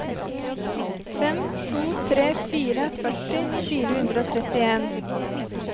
fem to tre fire førti fire hundre og trettien